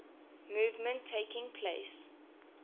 movement taking place